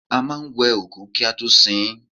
A máa ń wẹ òkú kí a tó sin ín